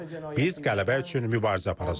Biz qələbə üçün mübarizə aparacağıq.